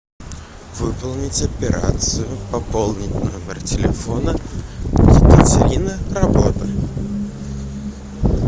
выполнить операцию пополнить номер телефона екатерина работа